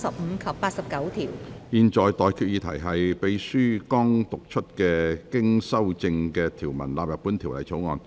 我現在向各位提出的待決議題是：秘書剛讀出經修正的條文納入本條例草案。